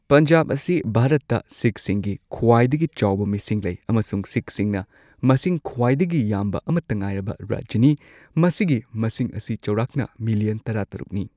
ꯄꯟꯖꯥꯕ ꯑꯁꯤ ꯚꯥꯔꯠꯇ ꯁꯤꯈꯁꯤꯡꯒꯤ ꯈ꯭ꯋꯥꯏꯗꯒꯤ ꯆꯥꯎꯕ ꯃꯤꯁꯤꯡ ꯂꯩ ꯑꯃꯁꯨꯡ ꯁꯤꯈꯁꯤꯡꯅ ꯃꯁꯤꯡ ꯈ꯭ꯋꯥꯏꯗꯒꯤ ꯌꯥꯝꯕ ꯑꯃꯠꯇ ꯉꯥꯏꯔꯕ ꯔꯥꯖ꯭ꯌꯥꯅꯤ꯫ ꯃꯁꯤꯒꯤ ꯃꯁꯤꯡ ꯑꯁꯤ ꯆꯥꯎꯔꯥꯛꯅ ꯃꯤꯂꯤꯌꯟ ꯇꯔꯥꯇꯔꯨꯛꯅꯤ꯫